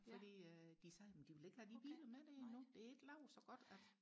fordi de sagde jamen de vil ikke have de biler med nu det er ikke lavet så godt at